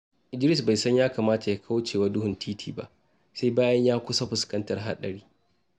Idris bai san ya kamata ya kauce wa duhun titi ba, sai bayan ya kusa fuskantar haɗari.